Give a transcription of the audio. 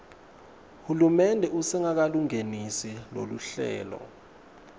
hulumende usengakalungenisi loluhlelo